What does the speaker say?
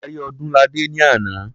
A rí Ọdúnladé ní àná.